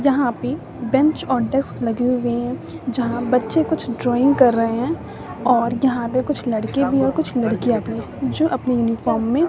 जहां पे बेंच और डेस्क लगे हुए जहां बच्चे कुछ ड्राइंग कर रहे हैं और यहां पे कुछ लड़के भी और कुछ लड़कियां भी जो अपनी यूनिफॉर्म में --